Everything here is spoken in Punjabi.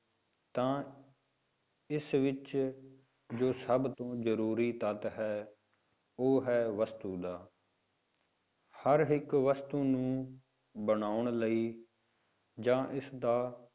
ਤਾਂ ਇਸ ਵਿੱਚ ਜੋ ਸਭ ਤੋਂ ਜ਼ਰੂਰੀ ਤੱਤ ਹੈ ਉਹ ਹੈ ਵਸਤੂ ਦਾ ਹਰ ਇੱਕ ਵਸਤੂ ਨੂੰ ਬਣਾਉਣ ਲਈ ਜਾਂ ਇਸਦਾ